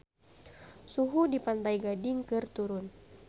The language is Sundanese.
Suhu di Pantai Gading keur turun